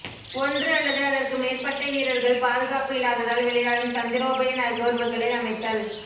ஒன்று அல்லது அதற்கு மேற்பட்ட வீரர்கள் பாதுகாப்பு இல்லாததால் விளையாடும் தந்திரோபாய நகர்வுகளை அமைத்தல்